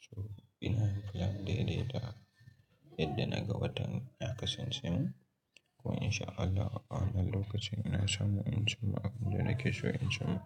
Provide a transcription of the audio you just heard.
So ina plan daidai ta yadda na ga watan ya kasance min. Ko in sha Allah a wannan lokacin ina samu in cimma abinda da ke so in cimma.